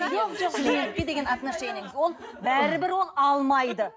ол бәрібір ол алмайды